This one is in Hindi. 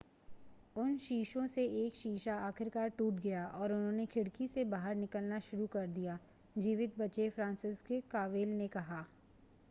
उन शीशों से एक शीशा आखिरकार टूट गया और उन्होंने खिड़की से बाहर निकलना शुरू कर दिया जीवित बचे फ्रांसिसज़ेक कोवल ने कहा